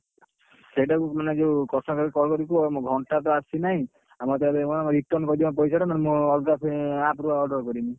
ସେଇଟା କୁ ମାନେ ଯଉ customer care କୁ call କରି କୁହ ମୋ ଘଣ୍ଟା ତ ଆସିନାହି ମତେ ନହେଲେ return କରିଦିଅ ପଇସା ଟା ନହେଲେ ମୁଁ ଅଲଗା app ରୁ order କରିବି।